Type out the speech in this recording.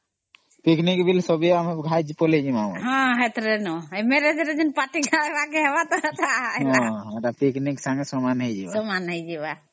ସେଥିରେ ପିକନିକ୍ ଟା ବି ହେଇଯିମା